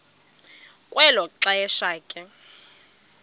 kwelo xesha ke